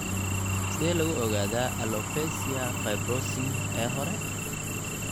Sidee lagu ogaadaa alopecia fibrosing ee hore?